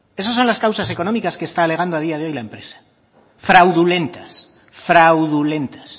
esas son las causas económicas que está alegando a día de hoy la empresa fraudulentas fraudulentas